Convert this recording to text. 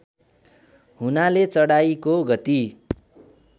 हुनाले चढाइको गति